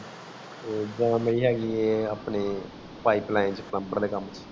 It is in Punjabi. ਉਦੋਂ ਨਹੀਂ ਹੇਗੀ ਇਹ ਆਪਣੇ pipeline ਤੇ plumber ਦੇ ਕਾਮ ਚ